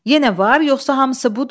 Yenə var, yoxsa hamısı budur?